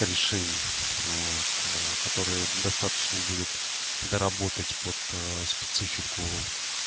решений вот которые достаточно будет доработать под специфику